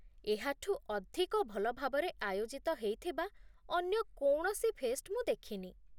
ଏହାଠୁ ଅଧିକ ଭଲ ଭାବରେ ଆୟୋଜିତ ହେଇଥିବା ଅନ୍ୟ କୌଣସି ଫେଷ୍ଟ୍ ମୁଁ ଦେଖିନି